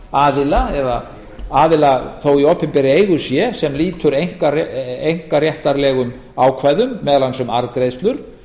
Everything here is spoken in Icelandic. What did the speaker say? einkaaðila eða aðila þó í opinberri eigu sé sem lýtur einkaréttarlegum ákvæðum meðal annars um arðgreiðslur